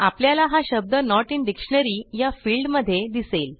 आपल्याला हा शब्द नोट इन डिक्शनरी या फिल्डमध्ये दिसेल